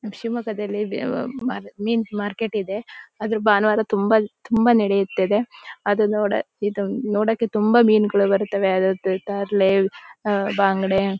ಮ್ ಶಿಮೊಗ್ಗದಲ್ಲಿ ಮೀನ್ ಮಾರ್ಕೆಟ್ ಇದೆ ಆದ್ರೆ ಬಾನುವಾರ ತುಂಬಾ ತುಂಬಾ ನಡೆಯುತ್ತದೆ ಅದು ಇದು ನೋಡಕ್ಕೆ ತುಂಬಾ ಮೀನುಗಳು ಬರುತ್ತವೆ ಅದದ ತರಲೇ ಅಹ್ ಬಂಗಡೆ --.